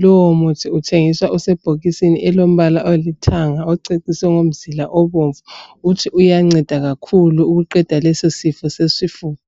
Lowo muthi uthengiswa usebhokisini elilombala olithanga oceciswe ngomzila obomvu. Uthi uyanceda kakhulu ukuqeda lesi sifo sesifuba